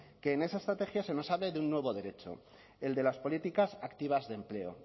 que en esa estrategia nos sale de un nuevo derecho el de las políticas activas de empleo